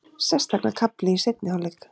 Sérstaklega kafli í seinni hálfleik.